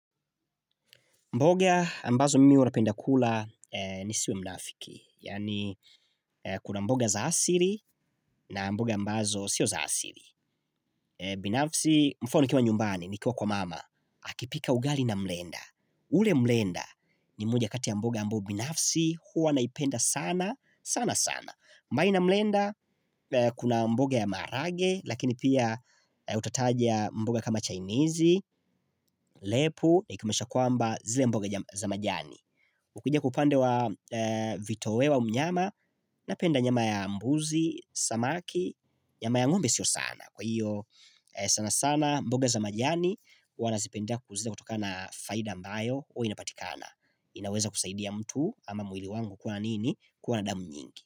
Mboga ambazo mimi huwa napenda kula nisiwe mnafiki. Yaani kuna mboga za asili na mboga ambazo sio za asili. Binafsi mfano nikiwa nyumbani nikiwa kwa mama. Akipika ugali na mrenda. Ule mrenda ni moja kati ya mboga ambayo binafsi huwa naipenda sana, sana sana. Mbali na mlenda kuna mboga ya marage lakini pia utataja mboga kama chainizi, lepu na ikomesha kwamba zile mboga za majani. Ukija kwa upande wa vitoeo wa mnyama napenda nyama ya mbuzi, samaki, nyama ya ng'ombe sio sana. Kwa hiyo sana sana mboga za majani huwa nazipenda kwa zile kutoka na faida ambayo huwa inapatikana. Inaweza kusaidia mtu ama mwili wangu kuwa na nini kuwa na damu nyingi.